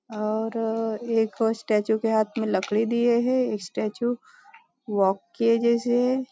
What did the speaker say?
और एक स्टेचू के हाथ में लकड़ी दिए है स्टेचू वॉक के जैसे --